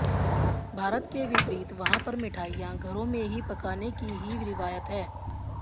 भारत के विपरीत वहां पर मिठाइयां घरों में ही पकाने की ही रिवायत है